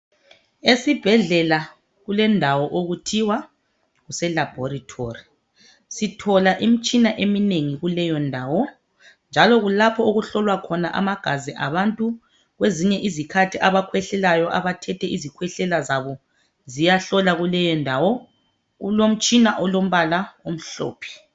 Esibhedlela kulendawo okuthiwa kuse laboratory .Sithola imtshina eminengi kuleyondawo .Njalo kulapho okuhlolwa amagazi abantu. Kwezinye izikhathi abakhwehlelayo abathethwe izikhwehlela zabo ziyahlolwa kuleyondawo .Kulomtshina olombala omhlophe .